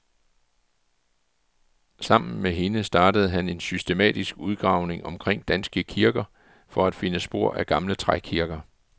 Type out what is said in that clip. Sammen med hende startede han en systematisk udgravning omkring danske kirker for at finde spor af gamle trækirker.